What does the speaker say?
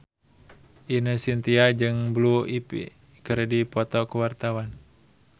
Ine Shintya jeung Blue Ivy keur dipoto ku wartawan